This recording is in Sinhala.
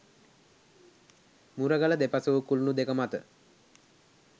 මුරගල දෙපස වූ කුලුණු දෙක මත